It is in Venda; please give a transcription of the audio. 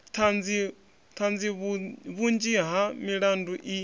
ṱhanzi vhunzhi ha milandu i